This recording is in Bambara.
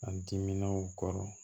A diminenw kɔrɔ